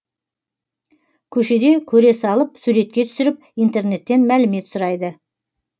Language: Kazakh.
көшеде көре салып суретке түсіріп интернеттен мәлімет сұрайды